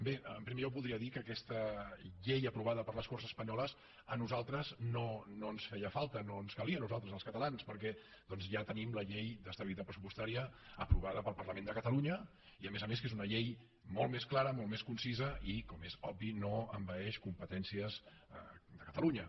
bé en primer lloc voldria dir que aquesta llei aprovada per les corts espanyoles a nosaltres no ens feia falta no ens calia a nosaltres els catalans perquè doncs ja tenim la llei d’estabilitat pressupostària aprovada pel parlament de catalunya que a més a més és una llei molt més clara molt més concisa i com és obvi no envaeix competències de catalunya